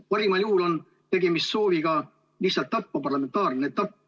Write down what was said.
Parimal juhul on tegemist sooviga lihtsalt tappa parlamentaarne debatt.